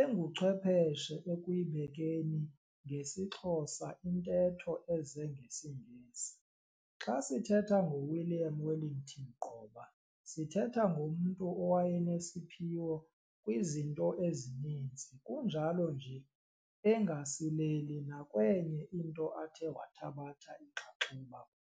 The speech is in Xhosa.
enguchwepheshe ekuyibekeni ngesiXhosa intetho eze ngesiNgesi. Xa sithetha ngoWilliam Wellington Gqoba sithetha ngomntu owayenesiphiwo kwizinto ezininzi kunjalo nje engasileli nakwenye into athe wathabatha inxaxheba kuyo.